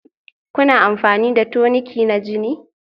Kuna amfani da toniki na jini?